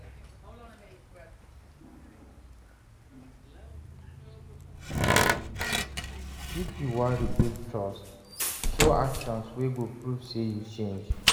If yu wan rebuild trust, show actions wey go prove say yu change.